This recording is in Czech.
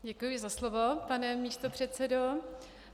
Děkuji za slovo, pane místopředsedo.